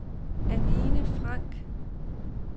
Anine Franck